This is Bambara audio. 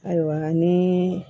Ayiwa ni